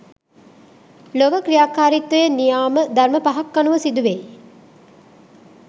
ලොව ක්‍රියාකාරිත්වය නියාම ධර්ම පහක් අනුව සිදුවෙයි.